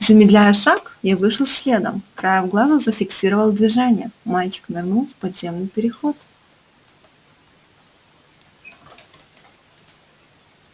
замедляя шаг я вышел следом краем глаза зафиксировал движение мальчик нырнул в подземный переход